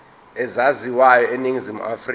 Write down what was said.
ezaziwayo eningizimu afrika